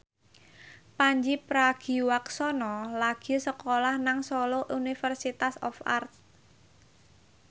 Pandji Pragiwaksono lagi sekolah nang Solo Institute of Art